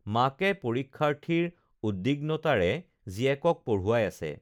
মাকে পৰীক্ষাৰ্থীৰ উদ্দিগ্নতাৰে জীয়েকক পঢ়ুৱাই আছে